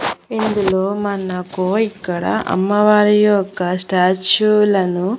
ఇందులో మనకు ఇక్కడ అమ్మవారి యొక్క స్టాచ్యూలను .